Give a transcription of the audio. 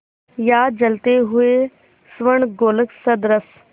या जलते हुए स्वर्णगोलक सदृश